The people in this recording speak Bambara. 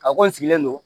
A ko n sigilen don